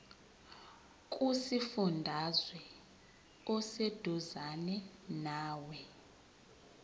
kusifundazwe oseduzane nawe